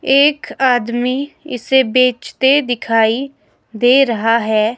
एक आदमी इसे बेचते दिखाई दे रहा है।